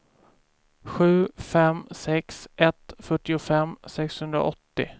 sju fem sex ett fyrtiofem sexhundraåttio